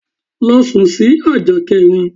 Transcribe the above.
Lọ sún sì ajá kẹrin!